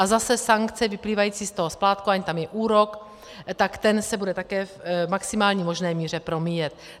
A zase sankce vyplývající z toho splátkování, tam je úrok, tak ten se bude také v maximální možné míře promíjet.